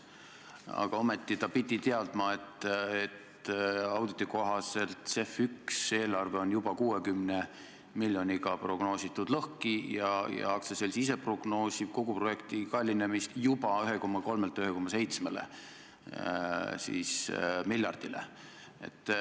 Aga ometi pidi ta teadma, et auditi kohaselt on CEF1 eelarve juba 60 miljoniga lõhki prognoositud ja aktsiaselts ise prognoosib kogu projekti kallinemist 1,3 miljardilt juba 1,7 miljardile.